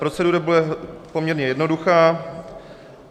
Procedura bude poměrně jednoduchá.